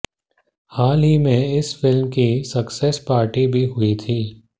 हाल ही में इस फिल्म की सक्सेस पार्टी भी हुई थी